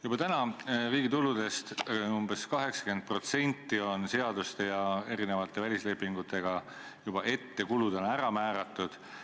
Juba praegu on riigi tulude kulutamisest umbes 80% seaduste ja erinevate välislepingutega ette ära määratud.